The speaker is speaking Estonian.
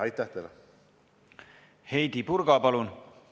Heidy Purga, palun!